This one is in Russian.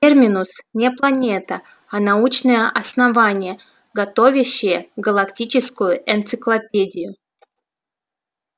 терминус не планета а научное основание готовящее галактическую энциклопедию